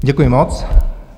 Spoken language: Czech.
Děkuji moc.